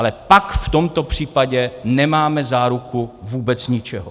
Ale pak v tomto případě nemáme záruku vůbec ničeho.